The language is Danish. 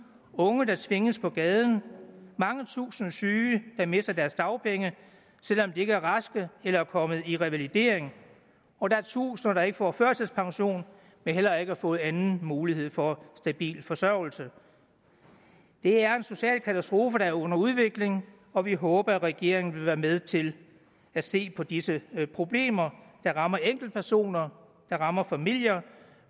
unge der tvinges på gaden mange tusinde syge der mister deres dagpenge selv om de ikke er raske eller kommet i revalidering og der er tusinder der ikke får førtidspension men heller ikke har fået anden mulighed for stabil forsørgelse det er en social katastrofe der er under udvikling og vi håber at regeringen vil være med til at se på disse problemer der rammer enkeltpersoner der rammer familier